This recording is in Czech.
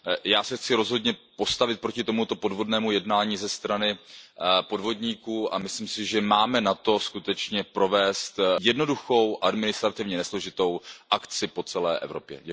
Já se chci rozhodně postavit proti tomuto podvodnému jednání ze strany podvodníků a myslím si, že máme na to provést jednoduchou, administrativně nesložitou akci po celé Evropě.